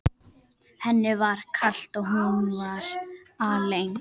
Henni var kalt og hún var alein.